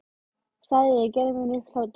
sagði ég og gerði mér upp hlátur.